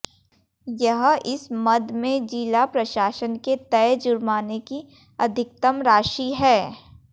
यह इस मद में जिला प्रशासन के तय जुर्माने की अधिकतम राशि है